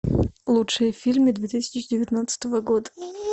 лучшие фильмы две тысячи девятнадцатого года